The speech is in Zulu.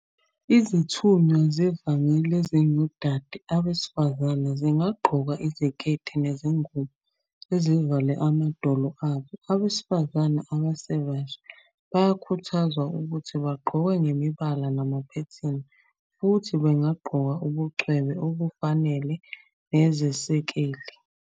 Izithunywa zevangeli ezingodade, abesifazane, zingagqoka iziketi nezingubo ezivale amadolo abo. Abesifazane abasebasha bayakhuthazwa ukuthi bagqoke ngemibala namaphethini, futhi bangagqoka ubucwebe obufanele nezesekeli.